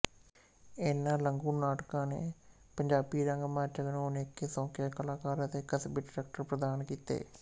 ਇਹਨਾਂ ਲਘੂ ਨਾਟਕਾਂ ਨੇ ਪੰਜਾਬੀ ਰੰਗਮੰਚ ਨੂੰ ਅਨੇਕ ਸੌਕੀਆ ਕਲਾਕਾਰ ਅਤੇ ਕਸਬੀ ਡਾਇਰੈਕਟਰ ਪ੍ਰਦਾਨ ਕੀਤੇ